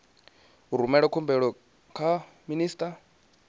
u rumela khumbelo kha minista